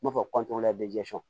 N b'a fɔ